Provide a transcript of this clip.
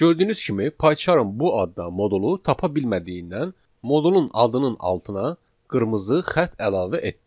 Gördüyünüz kimi Pycharmın bu adda modulu tapa bilmədiyindən, modulun adının altına qırmızı xətt əlavə etdi.